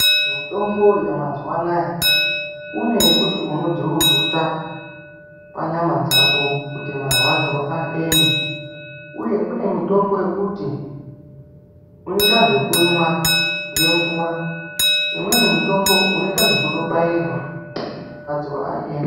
Mitombo yamazuva anawa kune yekuti unodzurudzuta panyama dzako kuti marwadzo aeme uye kune mitombo yekuti unoita zvekuimwa ngemvura imweni mitombo unoita zvekubairwa marwadzo aeme.